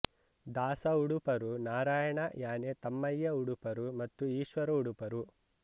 ದಾಸ ಉಡುಪರು ನಾರಾಯಣ ಯಾನೆ ತಮ್ಮಯ್ಯ ಉಡುಪರು ಮತ್ತು ಈಶ್ವರ ಉಡುಪರು